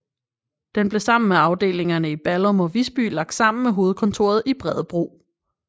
Den blev sammen med afdelingerne i Ballum og Visby lagt sammen med hovedkontoret i Bredebro